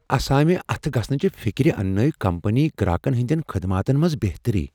اسامہِ اتھہٕ گژھنٕچہِ فِكرِ اننٲو كمپنی گراكن ہندین خدماتن منز بہتری ۔